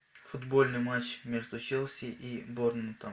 футбольный матч между челси и борнмутом